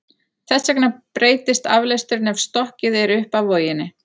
Þess vegna breytist aflesturinn ef stokkið er upp af voginni.